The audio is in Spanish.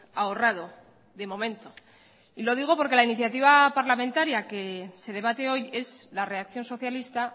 ahorrado de momento y lo digo porque la iniciativa parlamentaria que se debate hoy es la reacción socialista